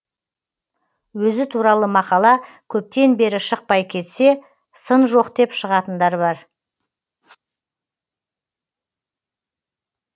өзі туралы мақала көптен бері шықпай кетсе сын жоқ деп шығатындар бар